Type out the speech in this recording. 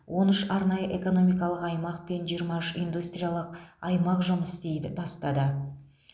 он үш арнайы экономикалық аймақ пен жиырма үш индустриялық аймақ жұмыс істейді бастады